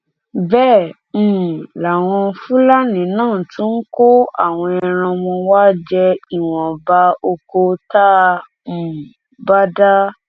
bẹẹ um làwọn fúlàní náà tún ń kó àwọn ẹran wọn wàá jẹ ìwọnba ọkọ tá a um bá dá